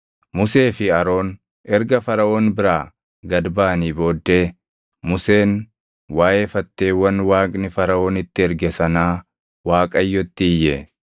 Musee fi Aroon erga Faraʼoon biraa gad baʼanii booddee Museen waaʼee fatteewwan Waaqni Faraʼoonitti erge sanaa Waaqayyotti iyye.